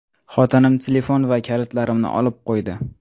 Xotinim telefon va kalitlarimni olib qo‘ydi.